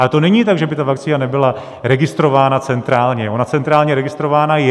Ale to není tak, že by ta vakcína nebyla registrována centrálně - ona centrálně registrovaná je.